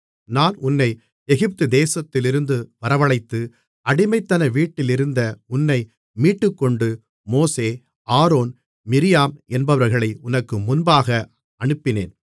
நான் உன்னை எகிப்துதேசத்திலிருந்து வரவழைத்து அடிமைத்தன வீட்டிலிருந்த உன்னை மீட்டுக்கொண்டு மோசே ஆரோன் மிரியாம் என்பவர்களை உனக்கு முன்பாக அனுப்பினேன்